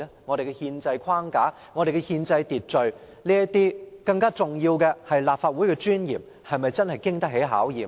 我們的憲制框架、憲制秩序，以及更重要的是立法會的尊嚴，又是否經得起考驗呢？